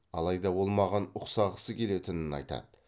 алайда ол маған ұқсағысы келетінін айтады